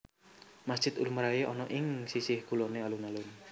Masjid lumrahé ana ing sisih kuloné alun alun